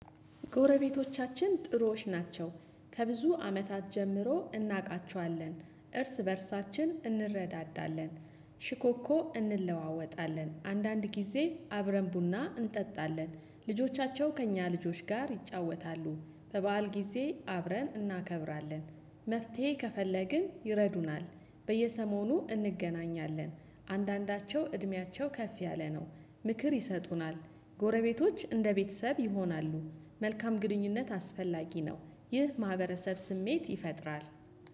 ጎረቤቶቻችን ጥሩዎች ናቸው ከብዙ አመታት ጀምሮ እናውቃቸዋለን እርስ በእርሳችን እንረዳዳለን። ሽኮኮ እንለዋወጣለን አንዳንድ ጊዜ አብረን ቡና እንጠጣለን። ልጆቻቸው ከእኛ ልጆች ጋር ይጫወታሉ። በበዓል ጊዜ አብረን እናከብራለን። መፍትሄ ከፈለግን ይረዱናል። በየሰሞኑ እንገናኛለን። አንዳንዳቸው እድሜያቸው ከፍ ያለ ነው። ምክር ይሰጡናል። ጎረቤቶች እንደ ቤተሰብ ይሆናሉ። መልካም ግንኙነት አስፈላጊ ነው። ይህ ማህበረሰብ ስሜት ይፈጥራል